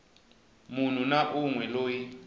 munhu na un we loyi